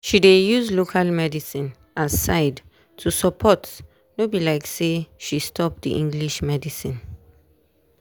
she dey use local medicine as side to support no be like say she stop the english medicine.